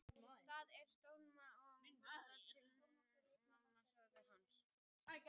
Það er stórsniðugt að við borðum öll saman á aðfangadag, sagði mamma hans.